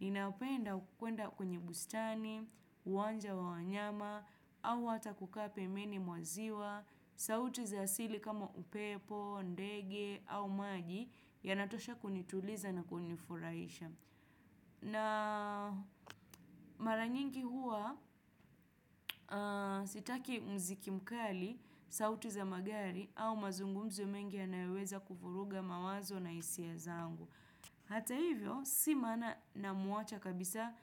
Ninapenda kuenda kwenye bustani, uwanja wa wanyama, au hata kukaa pembeni mwa ziwa, sauti za asili kama upepo, ndege au maji yanatosha kunituliza na kunifurahisha. Na mara nyingi huwa sitaki muziki mkali, sauti za magari au mazungumzo mengi yaypnaweza kuvuruga mawazo na hisia zangu. Hata hivyo, si maana namuacha kabisa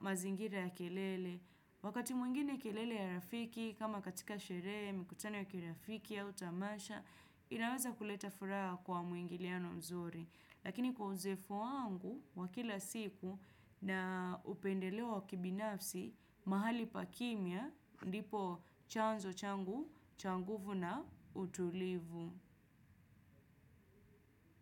mazingira ya kelele. Wakati mwingine kelele ya rafiki, kama katika sherehe, mikutano ya kirafiki au tamasha, inaweza kuleta furaha kwa mwingiliano mzuri. Lakini kwa uzoefu wangu, wa kila siku na upendeleo wa kibinafsi, mahali pa kimya, ndipo chanzo changu, cha nguvu na utulivu.